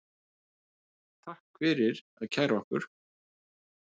Takk fyrir að kæra okkur